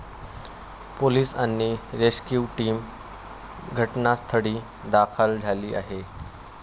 Police आणि rescue team घटनास्थळी दाखल झाली आहे.